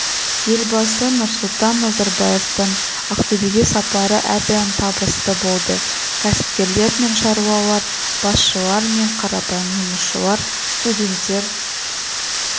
елбасы нұрсұлтан назарбаевтың ақтөбеге сапары әрдайым табысты болды кәсіпкерлер мен шаруалар басшылар мен қарапайым жұмысшылар студенттер